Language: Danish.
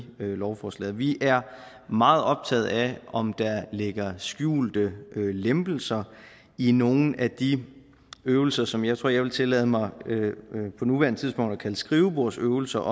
lovforslaget vi er meget optaget af om der ligger skjulte lempelser i nogle af de øvelser som jeg tror jeg vil tillade mig på nuværende tidspunkt at kalde skrivebordsøvelser